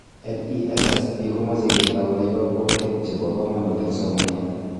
NESSP komoche ketoune kokwoutik chebo komonut eng somanet